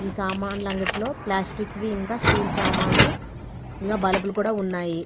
ఈ సామానలా అంగటి లో ప్లాస్టిక్ వి ఇంకా స్టిల్ సామాన్లు ఇంకా బల్బులు కూడా ఉన్నాయి.